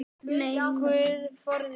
Guð forði mér.